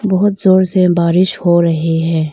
बहोत जोर से बारिश हो रही है।